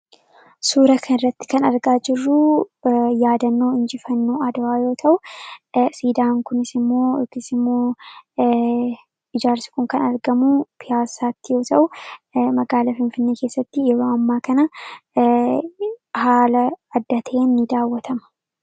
suuraa kana irratti kan argaa jirru yaadannoo injifannoo adwaa yoo ta'u siidaan kunis immoo hiikni isaammoo ijaarsi kun kan argamu pihaasaatti yoo ta'u magaalaa finfinnee keessatti yeroo ammaa kana haala adda ta'een ni daawwatama.